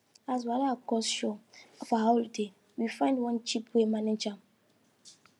as wahala cost show for our holiday we find one cheaper way manage am